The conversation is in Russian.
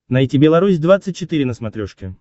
найти белорусь двадцать четыре на смотрешке